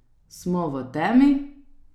Smo v temi.